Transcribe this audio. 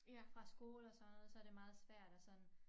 Fra skole og sådan noget så det meget svært at sådan